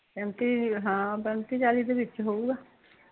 ਪੈਂਤੀ ਹਾਂ ਹੋਣਾ ਏ ਪੈਂਤੀ ਚਾਲੀ ਦੇ ਵਿੱਚ ਹੋਉਗਾ